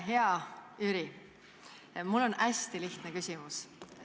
Hea Jüri, mul on hästi lihtne küsimus.